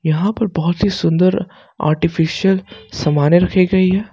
यहां पर बहुत से सुंदर आर्टिफिशियल सामाने रख गई है।